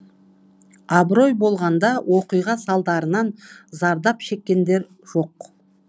абырой болғанда оқиға салдарынан зардап шеккендер жоқ